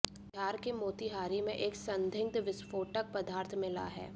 बिहार के मोतिहारी में एक संदिग्ध विस्फोटक पदार्थ मिला है